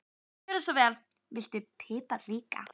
Já, gjörðu svo vel. Viltu pipar líka?